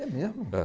É mesmo? É.